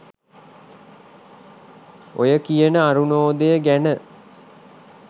ඔය කියන අරුණෝදය ගැන